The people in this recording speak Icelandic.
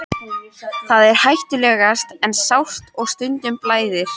Það er hættulaust en sárt og stundum blæðir.